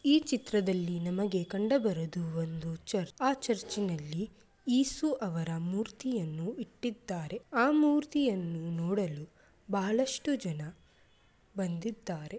ಈ ಚಿತ್ರದಲ್ಲಿ ನಮಗೆ ಕಂಡುಬರುವುದು ಒಂದು ಚರ್ಚ್. ಆ ಚರ್ಚಿನಲ್ಲಿ ಯೇಸು ಅವರ ಮೂರ್ತಿಯನ್ನು ಇಟ್ಟಿದ್ದಾರೆ. ಆ ಮೂರ್ತಿ ಯನ್ನು ನೋಡಲು ಬಹಳಷ್ಟು ಜನ ಬಂದಿದ್ದಾರೆ.